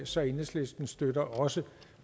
så enhedslisten støtter også